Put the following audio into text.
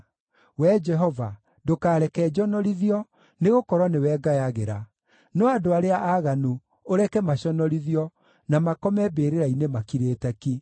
Wee Jehova, ndũkareke njonorithio, nĩgũkorwo nĩwe ngayagĩra; no andũ arĩa aaganu ũreke maconorithio na makome mbĩrĩra-inĩ makirĩte ki.